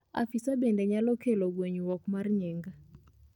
afisa bende nyalo kelo ngwenyuok mar nying